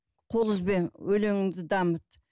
қол үзбе өлеңіңді дамыт